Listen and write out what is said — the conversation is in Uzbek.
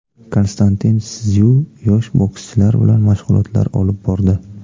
Konstantin Szyu yosh bokschilar bilan mashg‘ulotlar olib bordi.